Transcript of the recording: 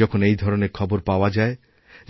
যখন এই ধরনের খবরপাওয়া যায়